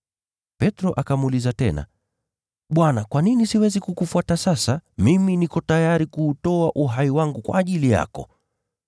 Petro akamuuliza tena, “Bwana, kwa nini siwezi kukufuata sasa? Mimi niko tayari kuutoa uhai wangu kwa ajili yako.”